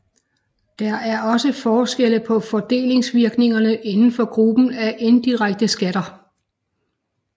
Der er også forskelle på fordelingsvirkningerne inden for gruppen af indirekte skatter